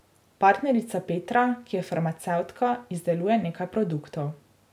Partnerica Petra, ki je farmacevtka, izdeluje nekaj produktov.